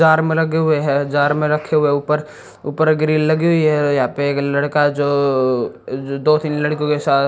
में लगे हुए हैं जार में रखे हुए ऊपर ऊपर ग्रिल लगी हुई है यहां पे एक लड़का जो दो तीन लड़कियों के साथ--